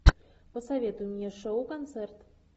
посоветуй мне шоу концерт